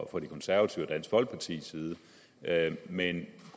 fra de konservative og dansk folkepartis side men